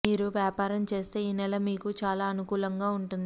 మీరు వ్యాపారం చేస్తే ఈ నెల మీకు చాలా అనుకూలంగా ఉంటుంది